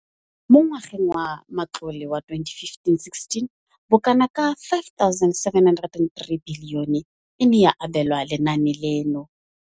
Mo ngwageng wa matlole wa 2015,16, bokanaka R5 703 bilione e ne ya abelwa lenaane leno.